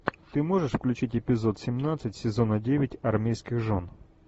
ты можешь включить эпизод семнадцать сезона девять армейских жен